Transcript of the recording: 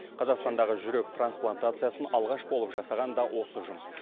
қазақстандағы жүрек трансплантациясын алғаш болып жасаған да осы ұжым